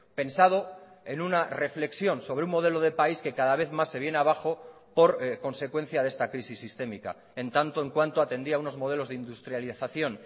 pensado en una reflexión sobre un modelo de país que cada vez más se viene abajo por consecuencia de esta crisis sistémica en tanto en cuanto atendía unos modelos de industrialización